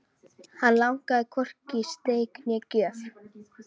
Hann langaði hvorki í steik né gjöf.